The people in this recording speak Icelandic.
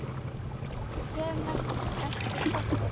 Kem eftir korter!